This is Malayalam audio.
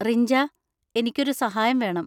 റിഞ്ച, എനിക്കൊരു സഹായം വേണം.